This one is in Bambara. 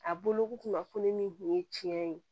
A boloko kunnafoni min tun ye tiɲɛ ye